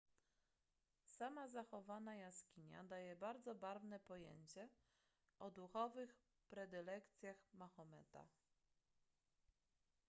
sama zachowana jaskinia daje bardzo barwne pojęcie o duchowych predylekcjach mahometa